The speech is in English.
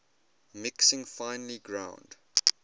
mixing finely ground